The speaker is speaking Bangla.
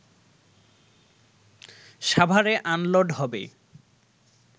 সাভারে আনলোড হবে